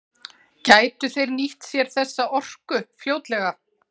Gætu þeir nýtt sér þessa orku fljótlega?